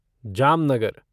Jamnagar